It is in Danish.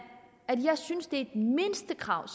at jeg synes et mindstekrav